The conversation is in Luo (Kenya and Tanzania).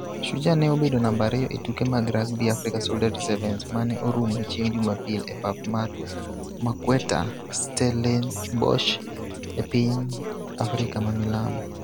Shujaa ne obedo namba ariyo e tuke mag Rugby Africa Solidarity Sevens ma ne orumo chieng' Jumapil e pap mar Marquetter, Stellenbosch e piny Africa mamilambo.